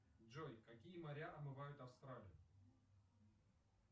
джой какие моря омывают австралию